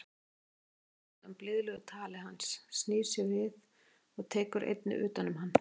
Hún bráðnar undan blíðlegu tali hans, snýr sér við og tekur einnig utan um hann.